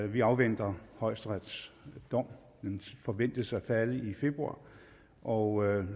vi afventer højesterets dom den forventes at falde i februar og